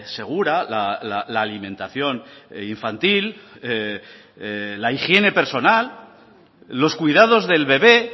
segura la alimentación infantil la higiene personal los cuidados del bebe